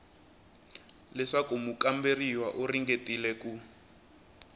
leswaku mukamberiwa u ringetile ku